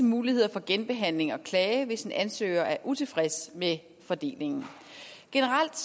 muligheder for genbehandling og klage hvis en ansøger er utilfreds med fordelingen generelt